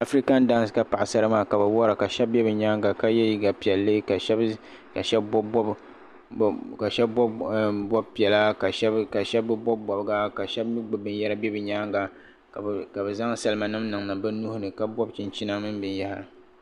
Afican dancen ka paɣ' sara maa. kabi wara ka sheb bɛ nyaaŋa ka ye liiga piɛlli ka. sheb. bɔbi bɔbi piɛla ka sheb bi bɔbi bɔbiga. ka sheb mi. gbubi bɛn yara n bɛ nyaaŋa. ka bizaŋ, salima nim niŋ niŋ bi nuhi ni. kabob chinchina mini bin yahiri.